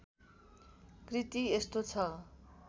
कृति यस्तो छ